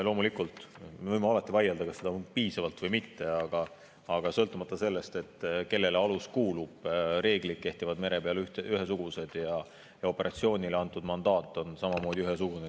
Loomulikult, me võime alati vaielda, kas on piisavalt või mitte, aga sõltumata sellest, kellele alus kuulub, mere peal kehtivad ühesugused reeglid ja operatsioonile antud mandaat on samamoodi ühesugune.